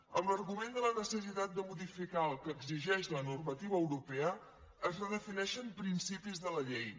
amb l’argument de la necessitat de modificar el que exigeix la normativa europea es redefineixen principis de la llei